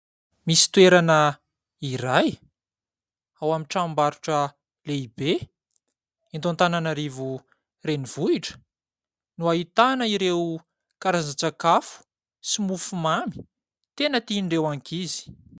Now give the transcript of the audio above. Misy toerana iray ao amin'ny trambarotra lehibe; eto Antananarivo renivohitra no ahitana ireo karazan-tsakafo, sy mofo mamy tena tian'ireo ankizy.